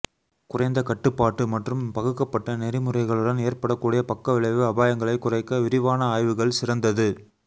குறைந்த கட்டுப்பாட்டு மற்றும் பகுக்கப்பட்ட நெறிமுறைகளுடன் ஏற்படக்கூடிய பக்கவிளைவு அபாயங்களைக் குறைக்க விரிவான ஆய்வுகள் சிறந்தது